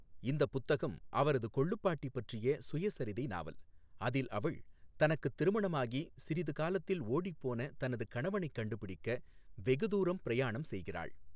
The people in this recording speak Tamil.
இந்தப் புத்தகம் அவரது கொள்ளுப் பாட்டி பற்றிய சுயசரிதை நாவல், அதில் அவள் தனக்குத் திருமணமாகி சிறிது காலத்தில் ஓடிப்போன தனது கணவனைக் கண்டுபிடிக்க வெகுதூரம் பிரயாணம் செய்கிறாள்.